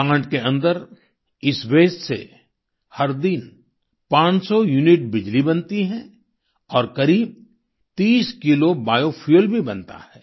plant के अंदर इस वास्ते से हर दिन 500 यूनिट बिजली बनती है और करीब 30 किलो बियो फ्यूएल भी बनता है